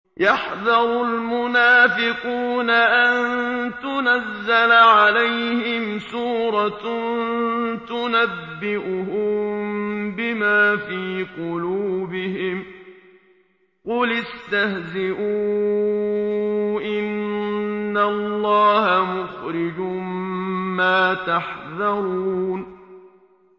يَحْذَرُ الْمُنَافِقُونَ أَن تُنَزَّلَ عَلَيْهِمْ سُورَةٌ تُنَبِّئُهُم بِمَا فِي قُلُوبِهِمْ ۚ قُلِ اسْتَهْزِئُوا إِنَّ اللَّهَ مُخْرِجٌ مَّا تَحْذَرُونَ